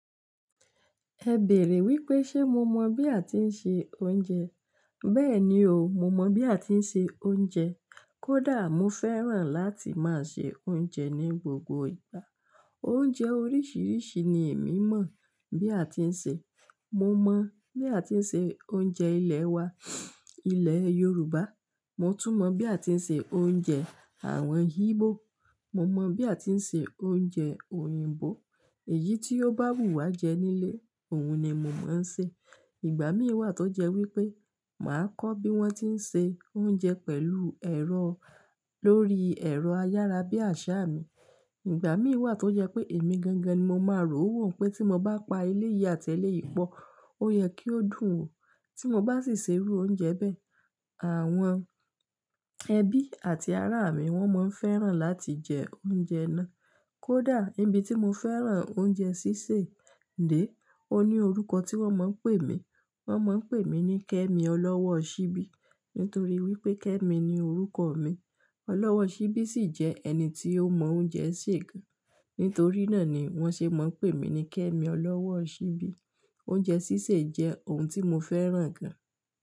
Ẹ bèèrè wípé ṣe mo mọ bí a ti ń se oúnjẹ? Bẹ́ẹ̀ni o, mo mọ bí a ti ń se oúnjẹ. Kódà mo fẹ́ràn láti máa se oúnjẹ ní gbogbo ìgbà. Oúnjẹ oríṣìíríṣìí ni èmi mọ̀ bí a ti ń se. Mo mọ bí a ti ń se oúnjẹ ilẹ̀ wa, ilẹ̀ Yorùbá. Mo tún mọ bí a ti ń se oúnjẹ àwọn Igbo. Mo mọ bí a ti ń se oúnjẹ òyìnbó. Èyí tí ó bá wù wá jẹ nílé, òun ni mo máa ń se. Ìgbà mí wà tó jẹ́ wípé màá kọ́ bí wón ti ń se oúnjẹ pẹ̀lú ẹ̀rọ lórí ẹ̀rọ ayára bí àṣá mi. Ìgbà mí wà tó jẹ́ pé èmi gangan ni mo máa rò wò pé tí mo bá pa eléyìí àti eléyìí pọ̀, ó yẹ kí ó dùn o. Tí mo bá sì se irú oúnjẹ bẹ, àwọn ẹbí àti ará mi wón máa ń fẹ́ràn láti jẹ oúnjẹ náà. Kódà ibi tí mo fẹ́ràn oúnjẹ sísè dé, ó ní orúkọ tí wón máa ń pè mí. Wọ́n máa ń pè mí ní Kẹ́mi ọlọ́wọ́ ọ ṣíbí. Nítorí wípé Kẹ́mi ni orúkọ mi. Ọlọ́wọ́ ṣíbí sì jẹ́ ẹni tí ó mọ oúnjẹ sè gan. Nítorí náà ni wọ̀n ṣe máa ń pè mí ní Kẹ́mi ọlọ́wọ́ ọ ṣíbí. Oúnjẹ sísè jẹ́ ohun tí mo fẹ́ràn gan.